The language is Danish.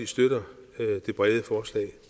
støtter det brede forslag